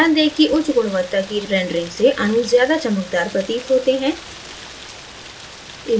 ध्यान दें कि उच्च गुणवत्ता की rendering से अणु ज्यादा चमकदार प्रतीत होते हैं